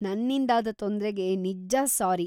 ನನ್ನಿಂದಾದ ತೊಂದ್ರೆಗೆ ನಿಜ್ಜ ಸ್ಸಾರಿ.